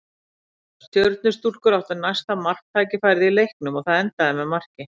Stjörnustúlkur áttu næsta marktækifærið í leiknum og það endaði með marki.